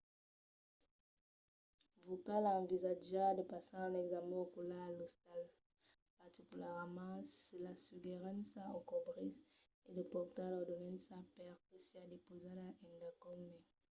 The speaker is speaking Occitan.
vos cal envisatjar de passar un examèn ocular a l'ostal particularament se l'assegurança o cobrís e de portar l'ordenança per que siá depausada endacòm mai